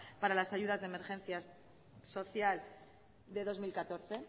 para las ayudas de emergencia social de dos mil catorce